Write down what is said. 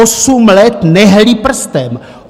Osm let nehnuli prstem!